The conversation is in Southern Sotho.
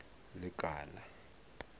lekala